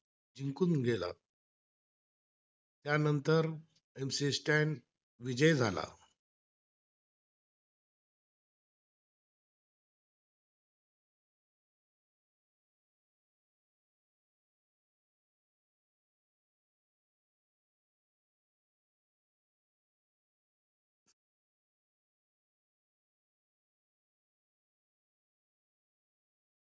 विजय झाला